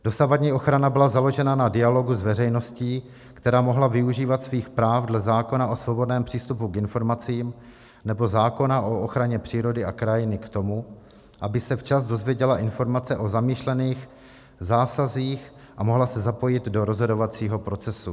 Dosavadní ochrana byla založena na dialogu s veřejností, která mohla využívat svých práv dle zákona o svobodném přístupu k informacím nebo zákona o ochraně přírody a krajiny k tomu, aby se včas dozvěděla informace o zamýšlených zásazích a mohla se zapojit do rozhodovacího procesu.